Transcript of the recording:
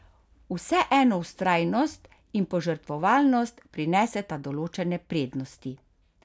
Vseeno vztrajnost in požrtvovalnost prineseta določene prednosti.